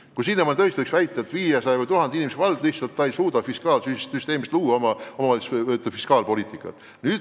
Kui sinnamaani tõesti võis väita, et 500 või 1000 inimesega vald lihtsalt ei suuda omavalitsuse fiskaalpoliitikat luua.